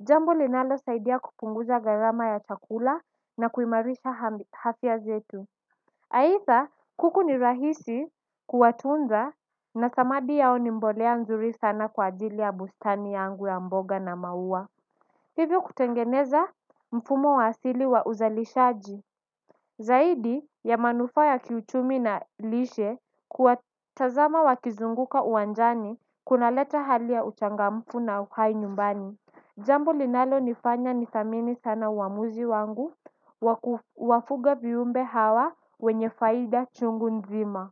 Jambo linalo saidia kupunguza garama ya chakula na kuimarisha afya zetu aitha kuku ni rahisi kuwatunza na samadi yao ni mbolea mzuri sana kwa ajili ya bustani yangu ya mboga na maua. Hivyo kutengeneza mfumo wa asili wa uzalishaji. Zaidi ya manufaa ya kiuchumi na lishe kuwatazama wakizunguka uwanjani kuna leta hali ya uchangamfu na uhai nyumbani. Jambo linalonifanya nithamini sana uamuzi wangu wafuga viumbe hawa wenye faida chungu nzima.